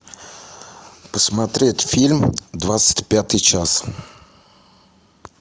посмотреть фильм двадцать пятый час